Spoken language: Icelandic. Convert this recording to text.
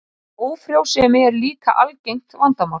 Ófrjósemi er líka algengt vandamál.